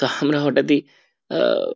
তাহলে হটাৎ ই আহ